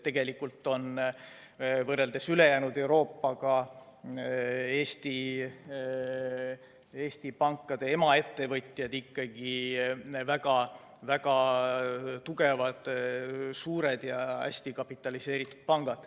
Tegelikult võrreldes ülejäänud Euroopaga on Eesti pankade emaettevõtjad ikkagi väga tugevad, suured ja hästi kapitaliseeritud pangad.